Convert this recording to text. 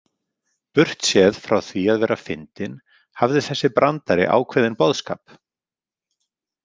Burtséð frá því að vera fyndinn hafði þessi brandari ákveðinn boðskap.